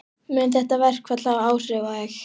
Mun þetta verkfall hafa áhrif á þig?